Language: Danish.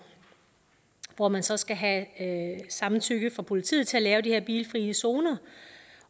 hvor man så skal have samtykke fra politiet til at lave de her bilfrie zoner